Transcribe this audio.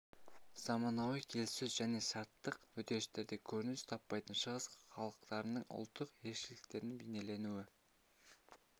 заманауи келіссөз және шарттық үдерістерде көрініс таппайтын шығыс халықтарының ұлттық ерекшеліктерінің бейнелену